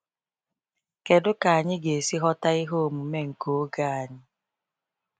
Kedu ka anyị ga-esi ghọta ihe omume nke oge anyị?